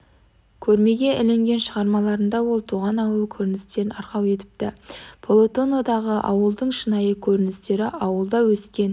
көрмеге ілінген шығармаларына ол туған ауыл көріністерін арқау етіпті полотнодағы ауылдың шынайы көріністері ауылда өскен